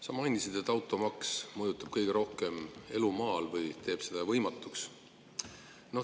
Sa mainisid, et automaks mõjutab kõige rohkem elu maal või teeb selle võimatuks.